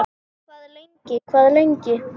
Hvað lengi, hvað lengi?